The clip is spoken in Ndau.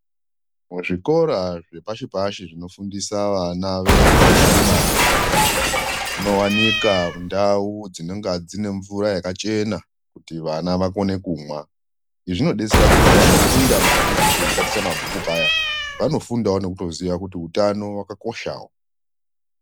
Zvikora zvepashi pashi zvinofundisa vana vepuraimari munowanika ndau dzinonga dzine mvura yakachena kuti vana vakwanise kumwa . Izvi zvinodetsera kuti pavanofunda mabhuku veichitaticha mabhuku paya vanofundawo nekutoziyawo kuti utano hwakakoshawo.